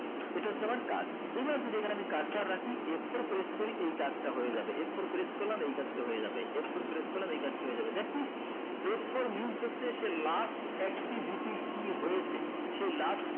এটা হচ্ছে আমার কাজ এবার যদি এখানে আমি পার রাখি f four press করি এই কাজটা হয়ে যাবে f four press করলাম এই কাজটা হয়ে যাবে f four press করলাম এই কাজটা হয়ে যাবে that means হচ্ছে সে f four means হয়েছে সেই last activity কি হয়েছে সেই last